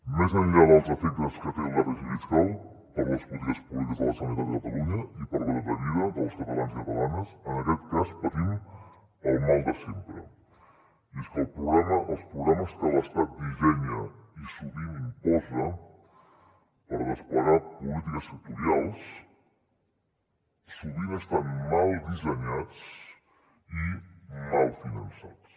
més enllà dels efectes que té el dèficit fiscal per a les polítiques públiques de la generalitat de catalunya i per a la qualitat de vida dels catalans i catalanes en aquest cas patim el mal de sempre i és que els programes que l’estat dissenya i sovint imposa per desplegar polítiques sectorials sovint estan mal dissenyats i mal finançats